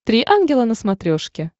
три ангела на смотрешке